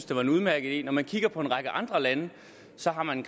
det var en udmærket idé når man kigger på en række andre lande ser man